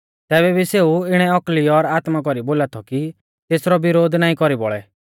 तैबै भी सेऊ इणै औकली और आत्मा कौरी बोला थौ कि सै तेसरौ विरोध नाईं कौरी बौल़ै